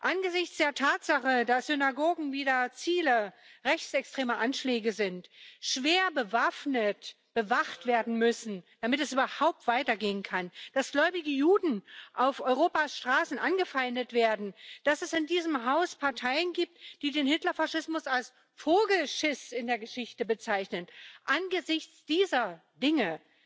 Angesichts der Tatsache, dass Synagogen wieder Ziele rechtsextremer Anschläge sind, schwer bewaffnet bewacht werden müssen, damit es überhaupt weitergehen kann, dass gläubige Juden auf Europas Straßen angefeindet werden, dass es in diesem Haus Parteien gibt, die den Hitler Faschismus als Vogelschiss in der Geschichte bezeichnen angesichts dieser Dinge